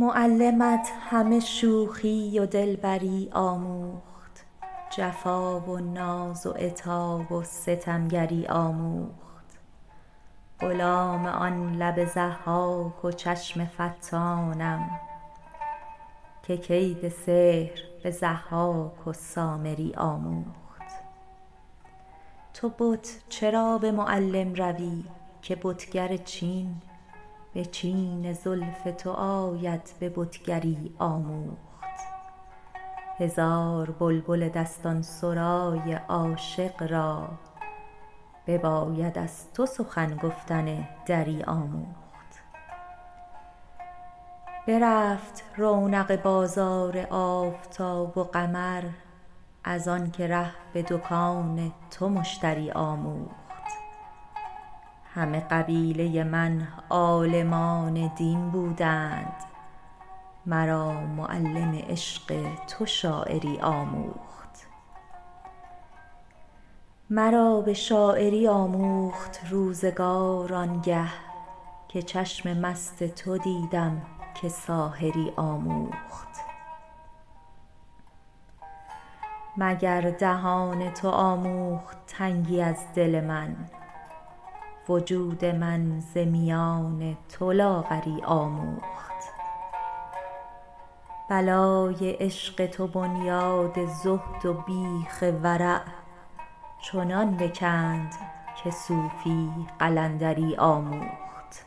معلمت همه شوخی و دلبری آموخت جفا و ناز و عتاب و ستمگری آموخت غلام آن لب ضحاک و چشم فتانم که کید سحر به ضحاک و سامری آموخت تو بت چرا به معلم روی که بتگر چین به چین زلف تو آید به بتگری آموخت هزار بلبل دستان سرای عاشق را بباید از تو سخن گفتن دری آموخت برفت رونق بازار آفتاب و قمر از آن که ره به دکان تو مشتری آموخت همه قبیله من عالمان دین بودند مرا معلم عشق تو شاعری آموخت مرا به شاعری آموخت روزگار آن گه که چشم مست تو دیدم که ساحری آموخت مگر دهان تو آموخت تنگی از دل من وجود من ز میان تو لاغری آموخت بلای عشق تو بنیاد زهد و بیخ ورع چنان بکند که صوفی قلندری آموخت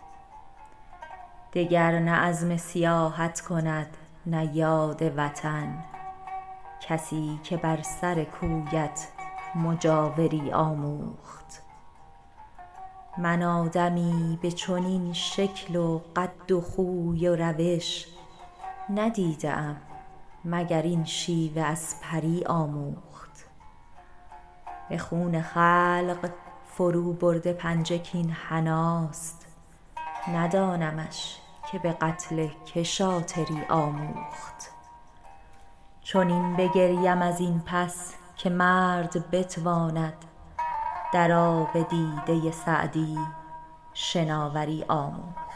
دگر نه عزم سیاحت کند نه یاد وطن کسی که بر سر کویت مجاوری آموخت من آدمی به چنین شکل و قد و خوی و روش ندیده ام مگر این شیوه از پری آموخت به خون خلق فروبرده پنجه کاین حناست ندانمش که به قتل که شاطری آموخت چنین بگریم از این پس که مرد بتواند در آب دیده سعدی شناوری آموخت